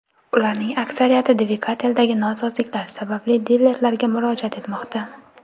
Ularning aksariyati dvigateldagi nosozliklar sababli dilerlarga murojaat etmoqda.